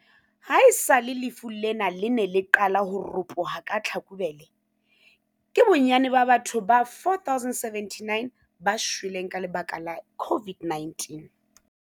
Haesale lefu lena le ne le qale ho ropoha ka Tlhakubele, ke bonnyane ba batho ba 4 079 ba shweleng ka lebaka la COVID-19.